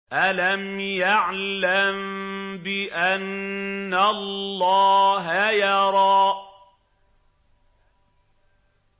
أَلَمْ يَعْلَم بِأَنَّ اللَّهَ يَرَىٰ